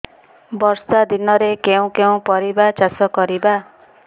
ବର୍ଷା ଦିନରେ କେଉଁ କେଉଁ ପରିବା ଚାଷ କରିବା